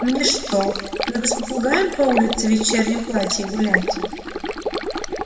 мне что надо с попугаем по улице в вечернем платье гулять